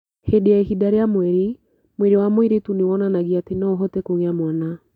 Hĩndĩ ya ihinda rĩa mweri, mwĩrĩ wa mũirĩtu nĩ wonanagia atĩ no ahote kũgĩa mwana.